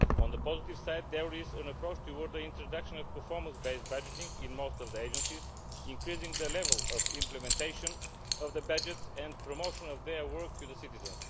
On the positive side, there is an approach towards the introduction of performance based budgeting in most of the agencies, increasing the level of implementation of the budget and promotion of their work to the citizens.